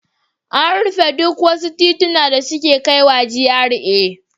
An rufe duk wasu tituna da suke kaiwa GRA.